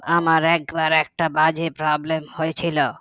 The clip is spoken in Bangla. আমার একবার একটা বাজে problem হয়েছিল